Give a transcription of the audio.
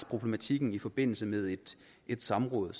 problematikken i forbindelse med et samråd